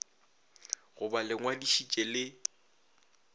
go ba le ngwadišitše le